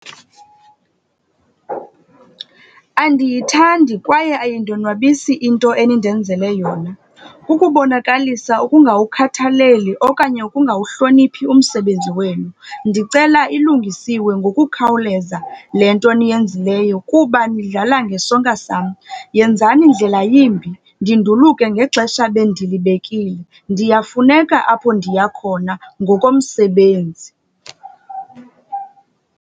Andiyithandi kwaye ayindonwabisi into enindenzele yona. Kukubonakalisa ukungawukhathaleli okanye ukungawuhloniphi umsebenzi wenu. Ndicela ilungisiwe ngokukhawuleza le nto niyenzileyo kuba nidlala ngesonka sam. Yenzani ndlela yimbi, ndinduluke ngexesha ebendilibekile. Ndiyafuneka apho ndiya khona ngokomsebenzi.